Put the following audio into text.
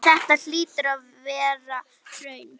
Þetta hlýtur að vera hraun.